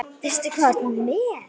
Veistu hvað þú ert með?